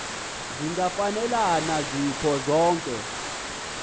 zingafanelana zikho zonke